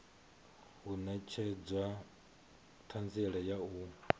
u netshedza thanziela ya u